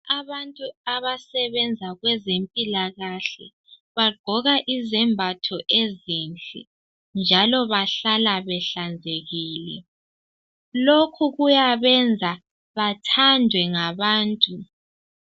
Abantu abasebenza kwezempilakahle bagqoka izembatho ezinhle njalo bahlala behlanzekile. Lokhu kuyabenza bathandwe ngabantu.